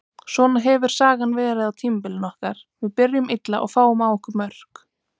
Svona hefur sagan verið á tímabilinu okkar, við byrjum illa og fáum á okkur mörk.